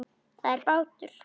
Það er bátur.